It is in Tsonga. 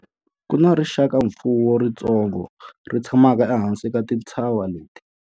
Ku na rixakamfuwo ritsongo ri tshamaka ehansi ka tintshava leti.